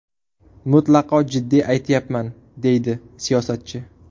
Mutlaqo jiddiy aytyapman”, deydi siyosatchi.